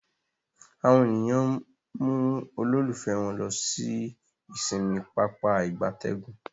Àwọn ènìyàn mú ololufe wón ló sì ìsinmi Pápá ìgbatẹ́gùn.